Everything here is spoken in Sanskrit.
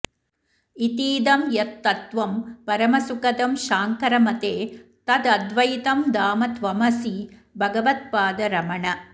इतीदं यत्तत्त्वं परमसुखदं शाङ्करमते तदद्वैतं धाम त्वमसि भगवत्पाद रमण